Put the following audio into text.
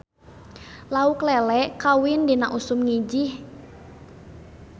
Lauk lele kawin dina usum ngijih